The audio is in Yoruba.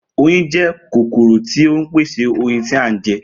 Oyin jé̩ kòkòrò tí ó ń pèsè oyin tí a ń je̩